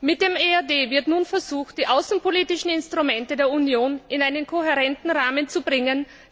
Mit dem EAD wird nun versucht, die außenpolitischen Instrumente der Union in einen kohärenten Rahmen zu bringen.